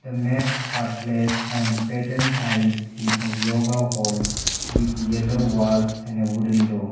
the mats are placed on patent tiles in a yoga hold with yellow walls and a wooden door.